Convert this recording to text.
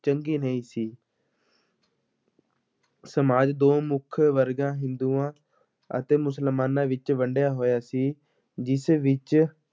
ਚੰਗੀ ਨਹੀਂ ਸੀ ਸਮਾਜ ਦੋ ਮੁੱਖ ਵਰਗਾਂ ਹਿੰਦੂਆਂ ਅਤੇ ਮੁਸਲਮਾਨਾਂ ਵਿੱਚ ਵੰਡਿਆ ਹੋਇਆ ਸੀ, ਜਿਸ ਵਿੱਚ